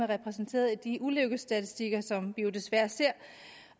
repræsenteret i de ulykkesstatistikker som jo desværre ser